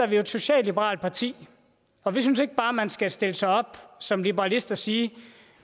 vi jo et socialliberalt parti og vi synes ikke bare at man skal stille sig op som liberalist og sige